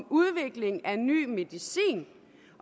udviklingen af ny medicin